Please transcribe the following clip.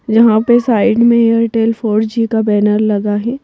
यहां पे साइड में एयरटेल फोर जी का बैनर लगा है।